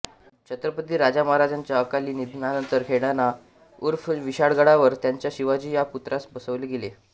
छत्रपती राजारामांच्या अकाली निधनानंतर खेळणा उर्फ विशाळगडावर त्यांच्या शिवाजी या पुत्रास बसवले गेले